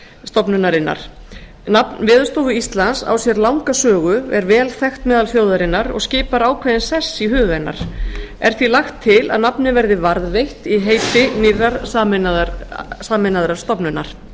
stofnunarinnar nafn veðurstofu íslands á sér langa sögu er vel þekkt meðal þjóðarinnar og skipar ákveðinn sess í huga hennar er því lagt til að nafnið verði varðveitt í heiti nýrrar sameinaðrar stofnunar